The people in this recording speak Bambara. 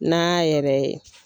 Na yɛrɛ ye.